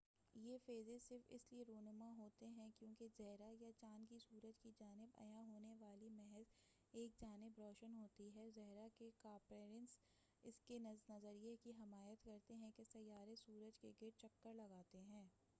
یہ فیزز صرف اس لیے رونما ہوتے ہیں کیونکہ زھرہ یا چاند کی سورج کی جانب عیاں ہونے والی محض ایک جانب روشن ہوتی ہے۔ زھرہ کے کاپرنیکس کے اس نظریے کی حمایت کرتے ہیں کہ سیارے سورج کے گرد چکر لگاتے ہیں۔